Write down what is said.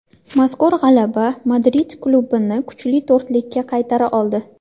Mazkur g‘alaba Madrid klubini kuchli to‘rtlikka qaytara oldi.